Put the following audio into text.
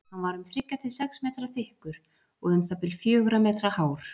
Hann var um þriggja til sex metra þykkur og um það bil fjögurra metra hár.